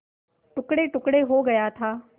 टुकड़ेटुकड़े हो गया था